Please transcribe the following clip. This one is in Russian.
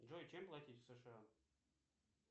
джой чем платить в сша